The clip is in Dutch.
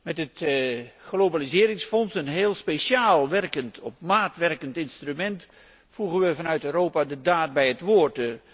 Met het globaliseringsfonds, een heel speciaal op maat werkend instrument, voegen we vanuit Europa de daad bij het woord.